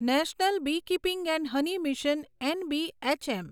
national beekeeping and honey mission NBHM